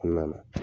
Kɔnɔna na